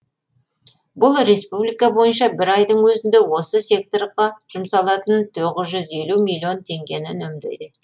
бұл республика бойынша бір айдың өзінде осы секторға жұмсалатын тоғыз жүз елу миллион теңгені үнемдейді